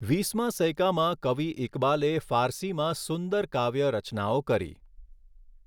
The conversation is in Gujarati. વીસમા સૈકામાં કવિ ઈકબાલે ફારસીમાં સુંદર કાવ્ય રચનાઓ કરી.